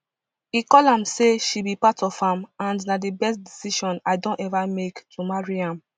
e call am say she be part of am and na di best decision i don ever make to marry am